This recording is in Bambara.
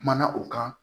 Kumana o kan